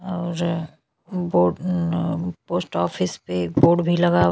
और board post office पे board भी लगा --